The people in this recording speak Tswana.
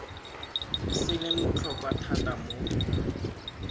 se leng botlhokwa thata mo